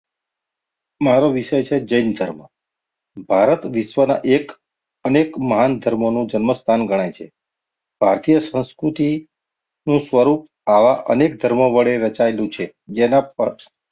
મારો વિષય છે. જૈન ધર્મ ભારત વિશ્વના એક અનેક મહાન ધર્મનો જન્મ સ્થાન ગણાય છે. ભારતીય સંસ્કૃતિનું સ્વરૂપ આવા અનેક ધર્મ વળી રચાયેલું છે. જેના પક્ષ,